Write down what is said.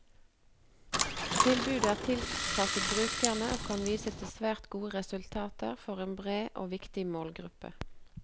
Tilbudet er tilpasset brukerne, og kan vise til svært gode resultater for en bred og viktig målgruppe.